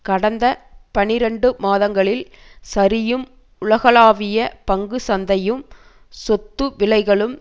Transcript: கடந்த பனிரண்டு மாதங்களில் சரியும் உலகளாவிய பங்கு சந்தையும் சொத்து விலைகளும்